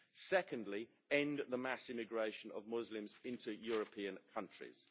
Second, end the mass immigration of Muslims into European countries.